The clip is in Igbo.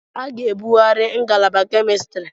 A ga-ebughari ngalaba Kemistri.